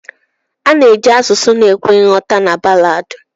Ana eji asụsụ na ekwe nghọta na ballad.